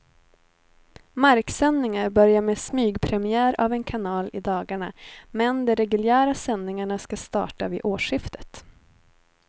Marksändningar börjar med smygpremiär av en kanal i dagarna, men de reguljära sändningarna ska starta vid årsskiftet.